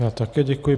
Já také děkuji.